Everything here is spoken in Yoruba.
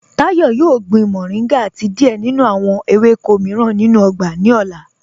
Táyọ̀ yóò gbìn mọ̀ríngà àti díẹ̀ nínú awọn èwékọ̀ míìràn nínú ọgbà ni ọlá.